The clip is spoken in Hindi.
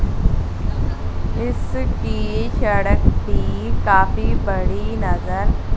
इसकी सड़क की काफी बड़ी नजर--